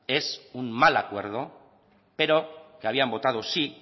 es un mal acuerdo pero que habían votado sí